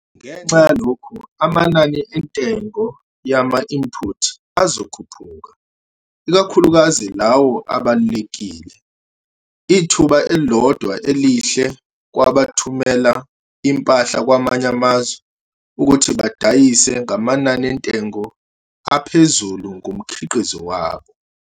Ngenxa yalokhu amanani entengo yama-inputs azokhuphuka, ikakhulukazi lawo abalulekile. Ithuba elilodwa elihle kwabathumela impahla kwamanye amazwe ukuthi badayisa ngamanani entengo aphezulu ngomkhiqizo wabo.